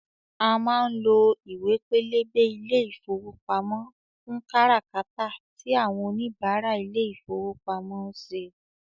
A má ń lo ìwé pélébé ilé ìfowópamọ́ fún kára kátà tí àwọn òníbarà ilé ìfowópamọ́ ń ṣe